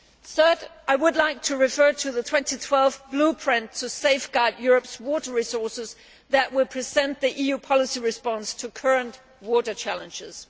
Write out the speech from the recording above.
Third, I would like to refer to the 2012 Blueprint to Safeguard Europe's Water Resources that will present the EU policy response to current water challenges.